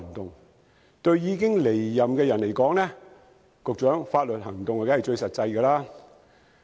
局長，對已經離任的人而言，採取法律行動當然最實際有效。